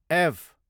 F